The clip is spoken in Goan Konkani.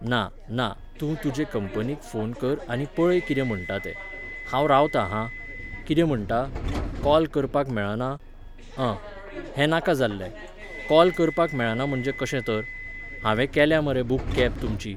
ना, ना, तूं तुजे कंपनीक फोन कर आनी पळय कितें म्हणटा तें. हांव रावता हां. कितें म्हणटा? कॉल करपाक मेळना? अँ, हें नाका जाल्लें. कॉल करपाक मेळना म्हणजे कशें तर? हांवे केल्या मरे बूक कॅब तुमची.